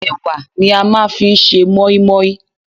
Ẹwà ni a máa ń fi ṣe mọ́í-mọ́í.